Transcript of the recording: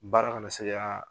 Baara ka na se ka